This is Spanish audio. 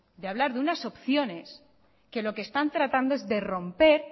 de hablar de unas opciones que lo que están tratando es de romper